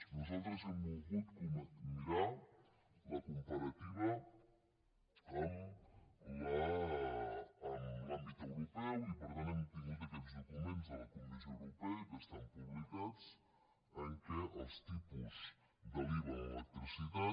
nosaltres hem volgut mirar la comparativa amb l’àmbit europeu i per tant hem tingut aquests documents de la comissió europea que estan publicats en què els tipus de l’iva en l’electricitat